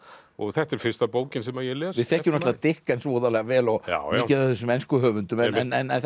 og þetta er fyrsta bókin sem ég les við þekkjum náttúrulega voðalega vel og mikið af þessum ensku höfundum en